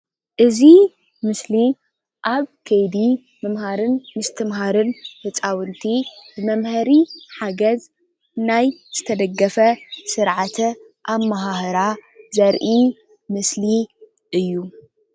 እዚ ምስሊ ኣብ ከይዲ ምምሃርን ምስትምሃርን ህፃውንቲ መምሀሪ ሓገዝ ናይ ዝተደገፈ ስርዓተ አመሃህራ ዘርኢ ምስሊ እዩ::